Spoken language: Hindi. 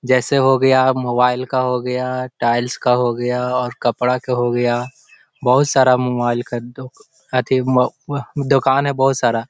जैसे हो गया मोबाइल का हो गया टाइल्स का हो गया और कपड़ा के हो गया बहोत सारा मोबाइल का दो अथी म म दुकान है बहोत सारा ।